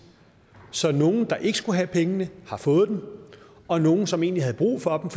så nogle der ikke skulle have pengene har fået og nogle som egentlig havde brug for